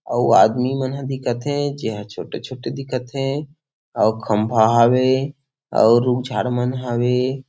अउ आदमी मन ह दिखत हे जेहा छोटे-छोटे दिखत हे और खम्भा हावे और रूम झाड़ू मन हावे--